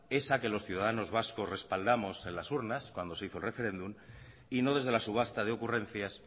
esa que los ciudadanos vascos respaldamos en las urnas cuando se hizo el referéndum y no desde la subasta de ocurrencias